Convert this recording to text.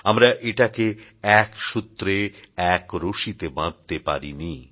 আমরা এটাকে এক সূত্রে এক রশিতে বাঁধতে পারিনি